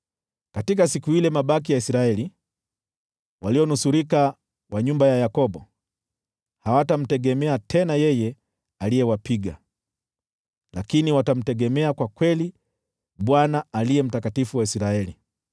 Katika siku ile, mabaki ya Israeli, walionusurika wa nyumba ya Yakobo, hawatamtegemea tena yeye aliyewapiga, lakini watamtegemea kwa kweli Bwana Aliye Mtakatifu wa Israeli.